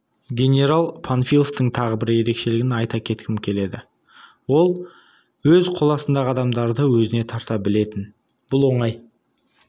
генерал панфиловтың тағы бір ерекшелігін айта кеткім келеді ол өз қол астындағы адамдарды өзіне тарта білетін бұл оңай